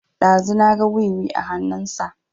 Ɗazu na ga wiwi a hanun sa